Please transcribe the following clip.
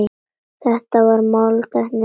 Þetta var máltæki hjá ömmu.